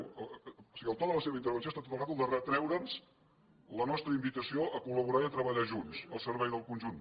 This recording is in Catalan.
o sigui el to de la seva intervenció ha estat tota l’estona de retreure’ns la nostra invitació a collaborar i a treballar junts al servei del conjunt